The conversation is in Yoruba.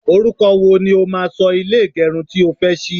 oruko wo ni o máa so ile igerun tí o fe sí?